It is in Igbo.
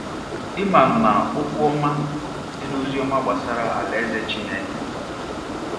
Ị manụ na “ okwu ọma ” dị n’ozi ọma gbasara Alaeze Chineke.